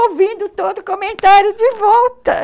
ouvindo todo o comentário de volta